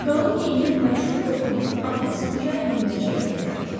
Qalın geyinib məşhur dostumun arxasınca dinməzçə getməyə başladıq.